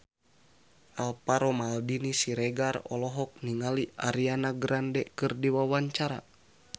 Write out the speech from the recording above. Alvaro Maldini Siregar olohok ningali Ariana Grande keur diwawancara